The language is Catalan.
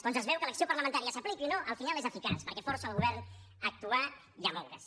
doncs es veu que l’acció parlamentària s’apliqui o no al final és eficaç perquè força el govern a actuar i a moure’s